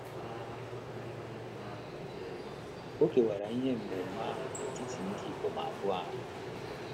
O kewara ihe enweenwe ahụ n’etiti ndị ikom abụọ ahụ.